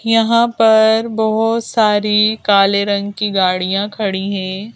यहां पर बहुत सारी काले रंग की गाड़ियां खड़ी है।